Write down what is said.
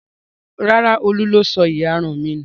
Rárá, Olú ló sọ ìyarun mi nù.